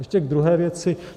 Ještě k druhé věci.